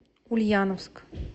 ульяновск